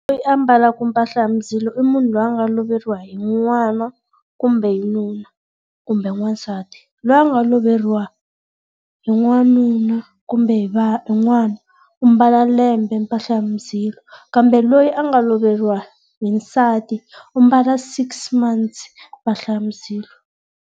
Loyi a ambalaka mpahla ya muzilo i munhu loyi a nga loveriwa hi n'wana kumbe hi nuna kumbe n'wansati. La nga loveriwa hi n'wanuna kumbe hi hi n'wana, u ambala lembe mpahla ya muzilo. Kambe loyi a nga loveriwa hi nsati u ambala six months mpahla ya muzilo.